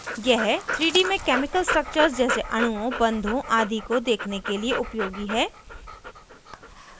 यह 3d में chemical structures जैसे अणुओं बन्धों आदि को देखने के लिए उपयोगी है